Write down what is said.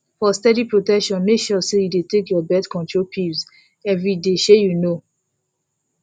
for steady protection make sure say you dey take your birth control pills every day shey you know